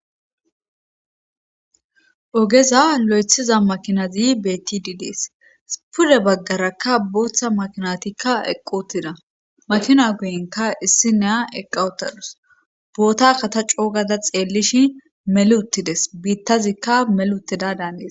ogeza lo7ethiza makinazi betidi dees pude baggarakka booththa makinatikka eqqi utida makina guyinka issi ne'a eqqa utadus boota kata coogada xeellishi meluttides biittazikka melutida daania